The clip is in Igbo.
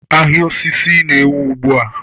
Ahịa osisi na-ewu ugbu a